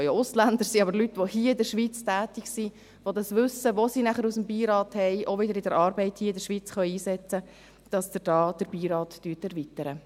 es können auch Ausländer sein, aber Menschen, die hier in der Schweiz tätig sind, die ihr Wissen, welches sie aus dem Beirat haben, auch bei ihrer Arbeit hier in der Schweiz einsetzen können und hier den Beirat erweitern.